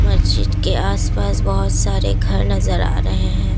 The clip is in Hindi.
मस्जिद के आसपास बहुत सारे घर नजर आ रहे हैं।